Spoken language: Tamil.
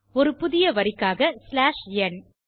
ஒரு புதிய வரிக்காக ஸ்லாஷ் ந்